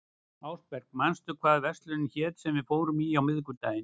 Ásberg, manstu hvað verslunin hét sem við fórum í á miðvikudaginn?